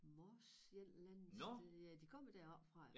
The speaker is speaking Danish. Mors et eller andet sted ja de kommer deroppefra